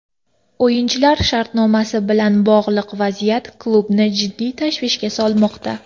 O‘yinchilar shartnomasi bilan bog‘liq vaziyat klubni jiddiy tashvishga solmoqda.